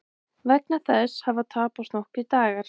Vegna þess hafa tapast nokkrir dagar